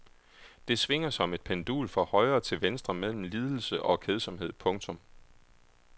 Det svinger som et pendul fra højre til venstre mellem lidelse og kedsomhed. punktum